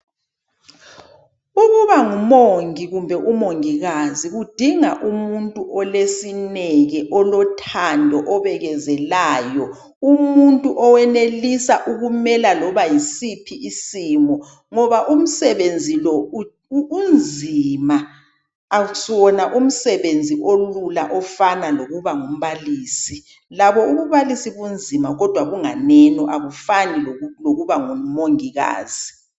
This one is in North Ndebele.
Ukuba ngumongi kumbe ngumongikazi kudinga umuntu olesineke, olothando, obekezelayo. Umuntu owenelisa ukumela loba yisiphi isimo ngoba umsebenzi lo unzima awusuwona umsebenzi olula ofana lokuba ngumbalisi. Labo ububalisi bunzima kodwa bunganeno akufani lokuba ngumongikazi.